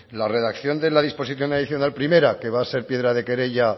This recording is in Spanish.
la redacción de la disposición adicional primera que va a ser piedra de querella